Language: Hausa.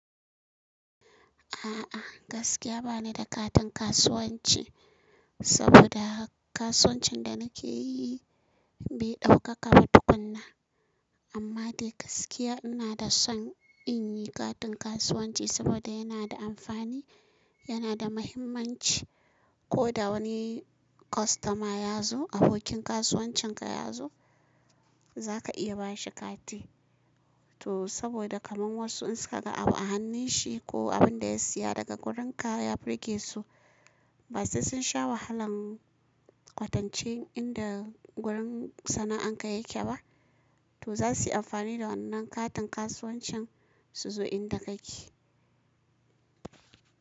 A'a gaskiya bani da katin kasuwanci saboda kasuwancin da nake yi bai ɗaukaka ba tukunna. Amma dai gaskiya ina da son in yi katin kasuwanci saboda yana da amfani, yana da muhimmanci. Ko da wani kwastoma ya zo, abokin kasuwancin ka ya zo za ka iya bashi kati. To saboda kamar wasu in suka ga abu a hannun shi ko abin da ya siya daga gurin ka ya birgesu, ba sai sun sha wahalan kwatance inda wurin sana'an ka yake ba. To za su yi amfani da wannan katin kasuwancin su zo inda kake.